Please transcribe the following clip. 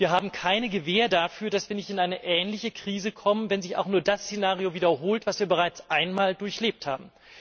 Wir haben keine Gewähr dafür, dass wir nicht in eine ähnliche Krise kommen, wenn sich auch nur das Szenario wiederholt, das wir bereits einmal durchlebt haben.